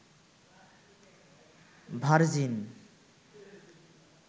virgin